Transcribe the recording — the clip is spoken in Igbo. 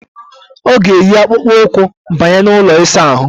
Ọ ga-eyi akpụkpụụkwụ banye n' ụlọ ịsaahụ.